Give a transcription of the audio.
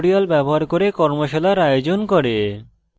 tutorials ব্যবহার করে কর্মশালার আয়োজন করে